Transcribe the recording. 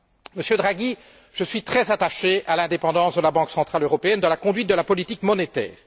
Monsieur Draghi, je suis très attaché à l'indépendance de la Banque centrale européenne dans la conduite de la politique monétaire.